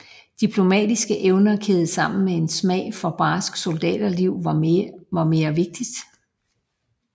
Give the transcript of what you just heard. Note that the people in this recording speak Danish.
Diplomatiske evner kædet sammen med en smag for barskt soldaterliv var mere vigtigt